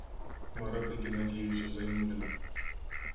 марата геннадьевича зайнуллина